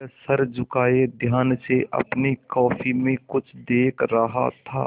वह सर झुकाये ध्यान से अपनी कॉपी में कुछ देख रहा था